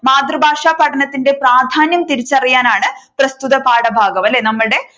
മാതൃഭാഷ പഠനത്തിന്റെ പ്രാധാന്യം തിരിച്ചറിയാനാണ് പ്രസ്തുത പാഠഭാഗം അല്ലെ നമ്മളുടെ ഈ